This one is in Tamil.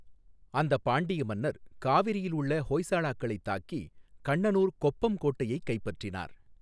அந்த பாண்டிய மன்னர் காவிரியில் உள்ள ஹோய்ஸலாக்களைத் தாக்கி கண்ணனூர் கொப்பம் கோட்டையைக் கைப்பற்றினர்.